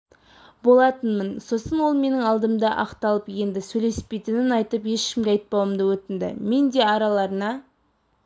болатынмын сосын ол менің алдымда ақталып енді сөйлеспейтінін айтып ешкімге айтпауымды өтінді мен де араларына